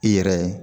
I yɛrɛ